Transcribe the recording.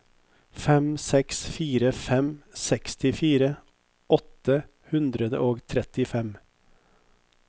fem seks fire fem sekstifire åtte hundre og trettifem